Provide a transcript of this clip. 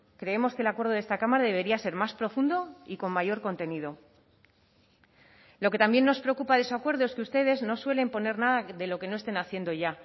creemos que el acuerdo de esta cámara debería ser más profundo y con mayor contenido lo que también nos preocupa de su acuerdo es que ustedes no suelen poner nada de lo que no estén haciendo ya